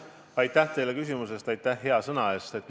Aitäh teile küsimuse ja hea sõna eest!